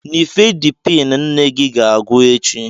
Nifedipin nne gị ga-agwụ echi.